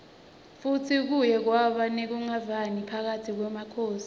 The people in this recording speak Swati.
futsi kuye kwaba nekunqevani phakatsi kwemakhosi